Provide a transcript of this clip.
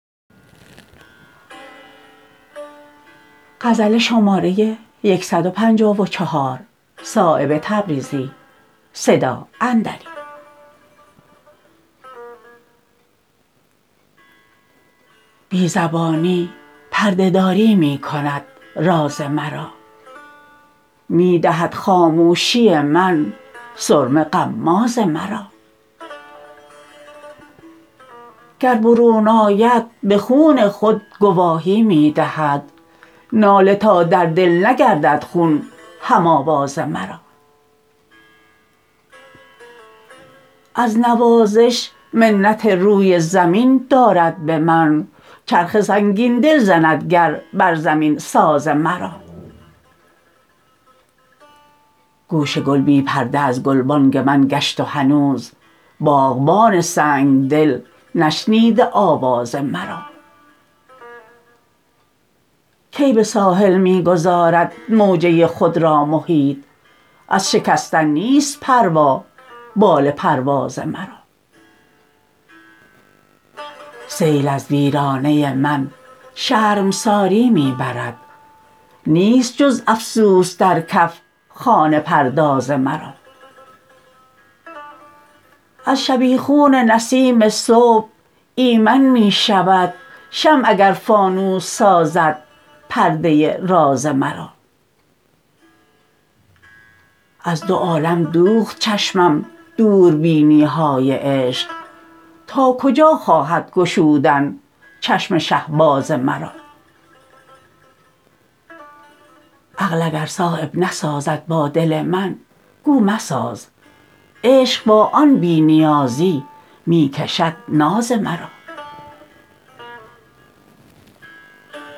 بی زبانی پرده داری می کند راز مرا می دهد خاموشی من سرمه غماز مرا گر برون آید به خون خود گواهی می دهد ناله تا در دل نگردد خون هم آواز مرا از نوازش منت روی زمین دارد به من چرخ سنگین دل زند گر بر زمین ساز مرا گوش گل بی پرده از گلبانگ من گشت و هنوز باغبان سنگدل نشنیده آواز مرا کی به ساحل می گذارد موجه خود را محیط از شکستن نیست پروا بال پرواز مرا سیل از ویرانه من شرمساری می برد نیست جز افسوس در کف خانه پرداز مرا از شبیخون نسیم صبح ایمن می شود شمع اگر فانوس سازد پرده راز مرا از دو عالم دوخت چشمم دوربینی های عشق تا کجا خواهد گشودن چشم شهباز مرا عقل اگر صایب نسازد با دل من گو مساز عشق با آن بی نیازی می کشد ناز مرا